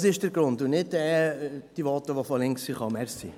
Dies ist der Grund – und nicht diese Voten, die von links kamen.